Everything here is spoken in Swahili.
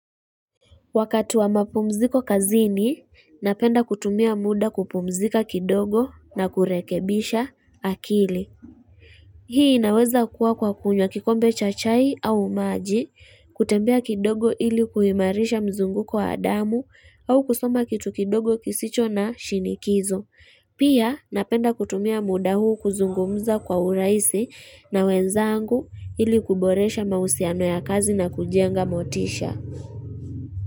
Wakati wa mapumziko kazini, napenda kutumia muda kupumzika kidogo na kurekebisha akili. Hii inaweza kuwa kwa kunywa kikombe cha chai au maji, kutembea kidogo ili kuimarisha mzunguko wa damu au kusoma kitu kidogo kisicho na shinikizo. Pia napenda kutumia muda huu kuzungumza kwa urahisi na wenzangu ili kuboresha mahusiano ya kazi na kujenga motisha.